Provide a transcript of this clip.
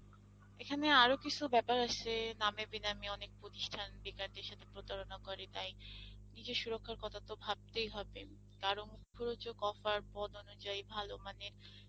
এখানে আরো কিসু বেপার আসে নামে বেনামে অনেক প্রতিষ্ঠান বেকারদের সাথে প্রতারণা করে তাই নিজের সুরক্ষার কথা তো ভাবতেই হবে কারণ মুখরোচক offer পদ অনুযায়ী ভালো মানের